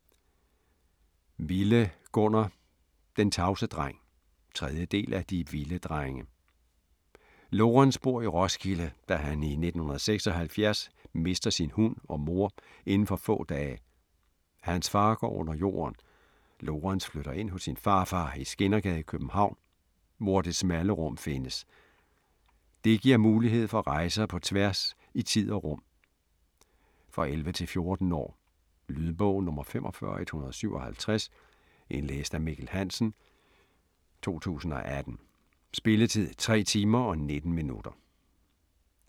Wille, Gunnar: Den tavse dreng 3. del af De Wille drenge. Lorens bor i Roskilde, da han i 1976 mister sin hund og mor indenfor få dage. Hans far går under jorden. Lorens flytter ind hos sin farfar i Skindergade i København, hvor Det smalle Rum findes. Det giver mulighed for rejser på tværs i tid og rum. For 11-14 år. Lydbog 45157 Indlæst af Mikkel Hansen, 2018. Spilletid: 3 timer, 19 minutter.